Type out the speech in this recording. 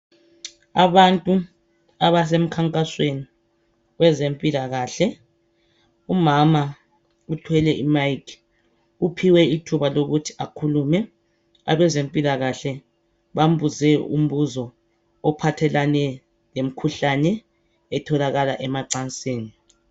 Abantu abasemkhankasweni wezempilakahle. Umama uthwele i mic uphiwe ithuba lokuthi akhulume abezempilakahle bambuze umbuzo ophathelane lemkhuhlane etholakala emacansini.